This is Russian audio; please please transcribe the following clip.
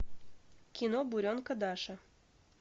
кино буренка даша